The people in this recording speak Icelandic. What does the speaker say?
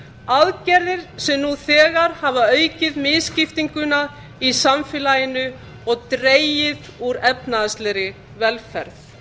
aðgerðir sem nú þegar hafa aukið misskiptinguna í samfélaginu og dregið úr efnahagslegri velferð